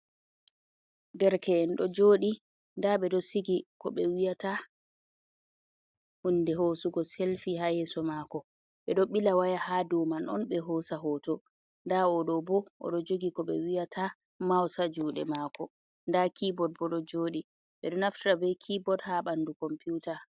Derke’en ɗo jodi nda ɓeɗo sigi koɓe wiyata hunde hosugo selfi ha yeso mako ɓeɗo ɓila waya ha doman on ɓe hosa hoto, nda oɗo bo oɗo jogi koɓe wiyata maus ha juɗe mako nda kibod bo ɗo joɗi ɓeɗo naftiraa be kibod ha ɓandu computa.